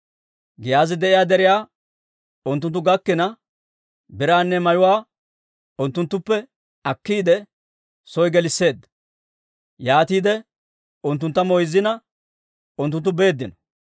Giyaazi de'iyaa deriyaa unttunttu gakkina, biraanne mayuwaanne unttunttuppe akkiide, soo gelisseedda. Yaatiide unttuntta moyzzina, unttunttu beeddino.